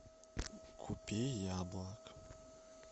купи яблок